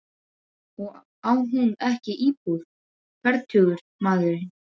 Og á hann ekki íbúð, fertugur maðurinn?